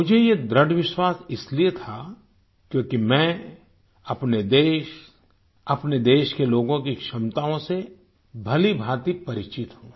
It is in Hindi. मुझे ये दृढ़ विश्वास इसलिए था क्योंकि मैं अपने देश अपने देश के लोगों की क्षमताओं से भलीभांति परिचित हूँ